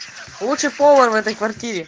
лучший повар в этой квартире